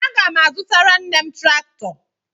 Aga m azụtara nne m traktọ.